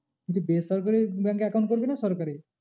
বলছি বেসরকারি bank এ account করবি না সরকারি?